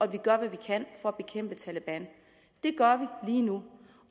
vi gør hvad vi kan for at bekæmpe taleban det gør vi lige nu